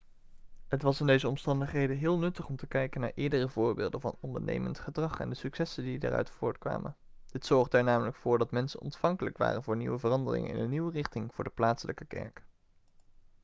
het was in deze omstandigheden heel nuttig om te kijken naar eerdere voorbeelden van ondernemend gedrag en de successen die daaruit voortkwamen dit zorgde er namelijk voor dat mensen ontvankelijk waren voor nieuwe veranderingen en een nieuwe richting voor de plaatselijke kerk